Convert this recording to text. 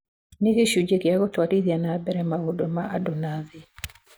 "Nĩ gĩcunjĩ gĩa gũtwarithia na mbere maũndũ ma andũ na thĩ."